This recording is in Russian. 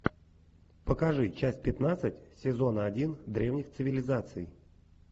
покажи часть пятнадцать сезона один древних цивилизаций